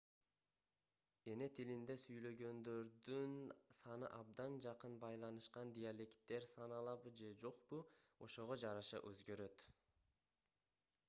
эни тилинде сүйлөгөндөрдүн саны абдан жакын байланышкан диалекттер саналабы же жокпу ошого жараша өзгөрөт